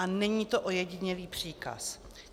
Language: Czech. A není to ojedinělý příkaz.